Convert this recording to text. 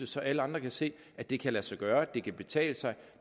så alle andre kan se at det kan lade sig gøre at det kan betale sig